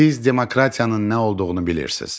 Siz demokratiyanın nə olduğunu bilirsiz.